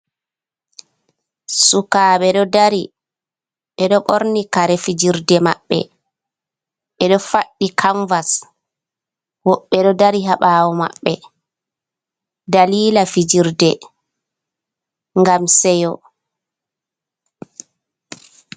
Sukaaɓe ɗo dari, ɓe ɗo ɓorni kare fijirde maɓɓe, ɓe ɗo faɗɗi kanvas, woɓɓe ɗo dari ha ɓaawo maɓɓe, daliila fijirde ngam seyo.